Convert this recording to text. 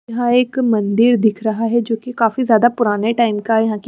यह एक मंदिर दिख रहा है जो की काफी ज्यादा पुराने टाइम का है यहां की--